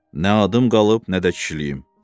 Nə adım qalıb, nə də kişiliyim.